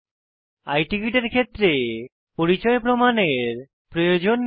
i ticket এর ক্ষেত্রে পরিচয় প্রমাণের প্রয়োজন নেই